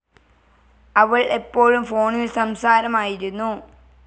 അവൾ എപ്പോഴും ഫോണിൽ സംസാരമായിരുന്നു.